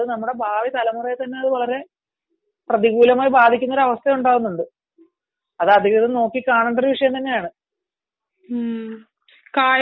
അത് നമ്മളെ ഭാവി തലമുറയെ തന്നെ വളരെ പ്രതികൂലമായി ബാധിക്കുന്ന ഒരാവസ്ഥയുണ്ട് അത് അധികൃതർ നോക്കിക്കാണേണ്ട ഒരു വിഷയമാണ്